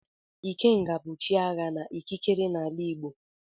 Ikenga bụ chi agha na ikikere n'ala Igbo.